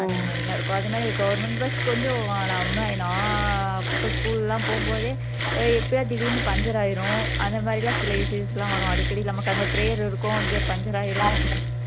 அந்த மாதிரி எல்லாம் இருக்கும் அதே மாதிரி government bus கொஞ்சம் அஹ் நம்ம நான் school எல்லாம் போகும் போதே எப்பையாவது திடீர்னு பஞ்சர் ஆயிரும் அந்த மாதிரி எல்லாம் சில issues எல்லாம் வரும் அடிக்கடி நமக்கு அங்க prayer இருக்கும் இங்க பஞ்சர் ஆயிரும்